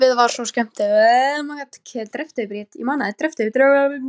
Lífið var svo skemmtilegt.